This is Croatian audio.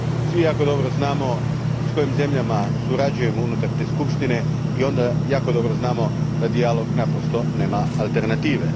Svi jako dobro znamo s kojim zemljama surađujemo unutar te skupštine i onda jako dobro znamo da dijalog naprosto nema alternative.